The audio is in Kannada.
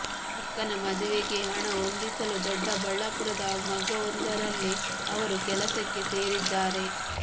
ಅಕ್ಕನ ಮದುವೆಗೆ ಹಣ ಹೊಂದಿಸಲು ದೊಡ್ಡಬಳ್ಳಾಪುರದ ಮಗ್ಗವೊಂದರಲ್ಲಿ ಅವರು ಕೆಲಸಕ್ಕೆ ಸೇರಿದ್ದಾರೆ